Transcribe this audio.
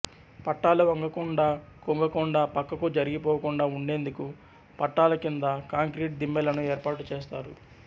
పట్టాలు వంగకుండా కుంగకుండా పక్కకు జరిగిపోకుండా ఉండేందుకు పట్టాల కింద కాంక్రీట్ దిమ్మెలను ఏర్పాటు చేస్తారు